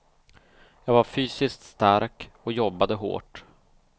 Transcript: Jag var fysiskt stark och jobbade hårt.